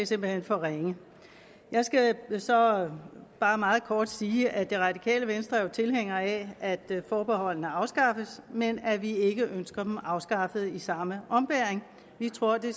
simpelt hen for ringe jeg skal så bare meget kort sige at det radikale venstre jo er tilhængere af at forbeholdene afskaffes men at vi ikke ønsker dem afskaffet i samme ombæring vi tror det